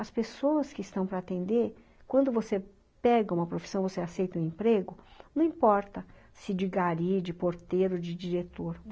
As pessoas que estão para atender, quando você pega uma profissão, você aceita um emprego, não importa se de gari, de porteiro, de diretor.